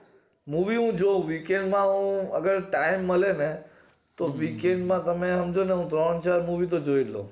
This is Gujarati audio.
movie નો જો weekend એવો અગર time ને તો weekend માં તમે સમજોને ત્રણ ચાર મૂવી તો જોય લવ